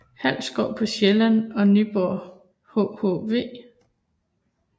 Halsskov på Sjælland og Nyborg hhv